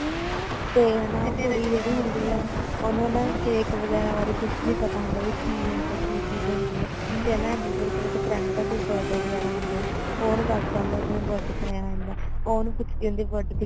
ਤੇ ਹਨਾਂ ਉਹ ਕੁੜੀ ਜਿਹੜੀ ਹੁੰਦੀ ਆ ਉਹਨੂੰ ਨਾ cake ਵਗੈਰਾ ਬਾਰੇ ਕੁੱਝ ਨੀ ਪਤਾ ਹੁੰਦਾ ਵੀ ਇਹ ਕੀ ਹੁੰਦਾ ਕੀ ਚੀਜ਼ ਹੁੰਦੀ ਆ ਤੇ ਹਨਾਂ ਐਮੀ ਵਿਰਕ ਦੇ friend ਦਾ birthday ਵਗੈਰਾ ਹੁੰਦਾ ਉਹ ਉਹਨੂੰ ਦਸਦਾ ਹੁੰਦਾ ਕਿ birthday ਤੇ ਐਵੇ ਐਵੇਂ ਹੁੰਦਾਂ ਉਹ ਉਹਨੂੰ ਪੁੱਛਦੀ ਹੁੰਦੀ ਆ